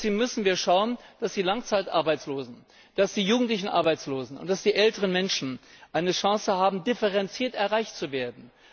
Deswegen müssen wir schauen, dass die Langzeitarbeitslosen, die jugendlichen Arbeitslosen und die älteren Menschen eine Chance haben, differenziert erreicht zu werden.